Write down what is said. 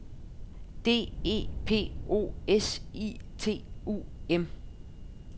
D E P O S I T U M